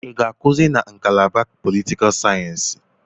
I ga-akụzi na ngalaba politikal sayensị?